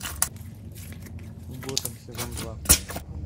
готэм сезон два